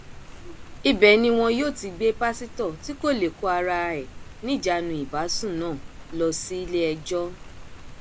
ibẹ ni wọn yóò ti gbé pásítọ tí kò lè kó ara ẹ níjànú ìbásùn náà lọ síléẹjọ